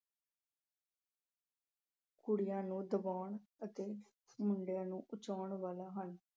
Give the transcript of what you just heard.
ਕੁੜੀਆਂ ਨੂੰ ਦਬਾਉਣ ਅਤੇ ਮੁੰਡਿਆਂ ਨੂੰ ਬਚਾਉਣ ਵਾਲੇ ਹਨ।